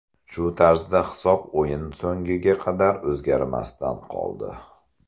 Shu tarzda hisob o‘yin so‘ngiga qadar o‘zgarmasdan qoldi.